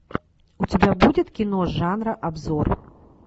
у тебя будет кино жанра обзор